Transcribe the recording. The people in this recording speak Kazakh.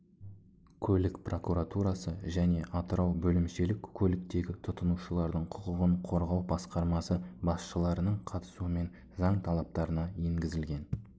көлік прокуратурасы және атырау бөлімшелік көліктегі тұтынушылардың құқығын қорғау басқармасы басшыларының қатысуымен заң талаптарына енгізілген